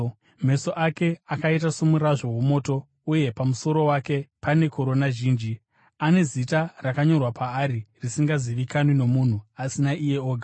Meso ake akaita somurazvo womoto, uye pamusoro wake pane korona zhinji. Ane zita rakanyorwa paari risingazivikanwi nomunhu asi naiye oga.